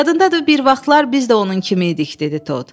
Yadındadır bir vaxtlar biz də onun kimi idik, dedi Tod.